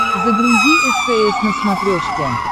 загрузи стс на смотрешке